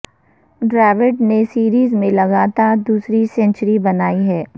ڈراوڈ نے سیریز میں لگاتار دوسری سنچری بنائی ہے